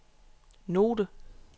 note